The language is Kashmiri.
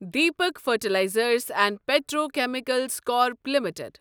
Deepak fertilisers and petrochemicals corp limited